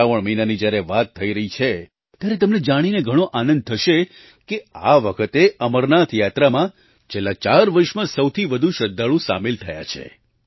શ્રાવણ મહિનાની જ્યારે વાત થઈ રહી છે ત્યારે તમને જાણીને ઘણો આનંદ થશે કે આ વખતે અમરનાથ યાત્રામાં છેલ્લાં ચાર વર્ષમાં સૌથી વધુ શ્રદ્ધાળુ સામેલ થયા છે